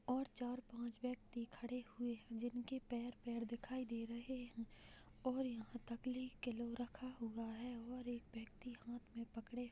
और चार पांच व्यक्ति खड़े हुए हैं जिनके पैर-पैर दिखाई दे रहे हैं और यहाँ किलो रखा हुआ है और एक व्यक्ति हाथ में पकड़े --